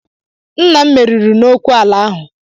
Nna m meriri n'okwụ ala ahụ.